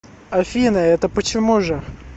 афина это почему же